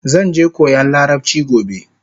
Zanje koyan larabchi gobe